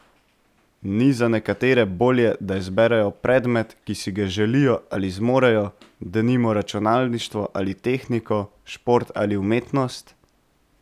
Ni za nekatere bolje, da izberejo predmet, ki si ga želijo ali zmorejo, denimo računalništvo ali tehniko, šport ali umetnost?